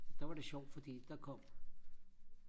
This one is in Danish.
der var det sjovt fordi der kom